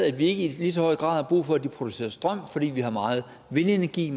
at vi ikke lige så høj grad brug for at de producerer strøm fordi vi har meget vindenergi